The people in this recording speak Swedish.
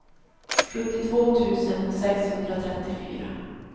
sjuttiotvå tusen sexhundratrettiofyra